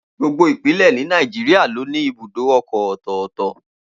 Gbogbo Ìpínlẹ̀ ni Nàìjíríà ló ní ibùdó ọkọ̀ ọ̀tọ̀ọ̀tọ̀